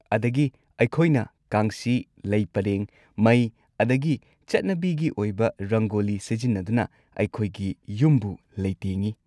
ꯑꯗꯒꯤ ꯑꯩꯈꯣꯏꯅ ꯀꯥꯡꯁꯤ, ꯂꯩ ꯄꯔꯦꯡ, ꯃꯩ, ꯑꯗꯨꯒ ꯆꯠꯅꯕꯤꯒꯤ ꯑꯣꯏꯕ ꯔꯪꯒꯣꯂꯤ ꯁꯤꯖꯤꯟꯅꯗꯨꯅ ꯑꯩꯈꯣꯏꯒꯤ ꯌꯨꯝꯕꯨ ꯂꯩꯇꯦꯡꯉꯤ꯫